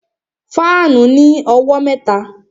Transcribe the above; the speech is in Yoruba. Fáànù ní owó mẹ́ta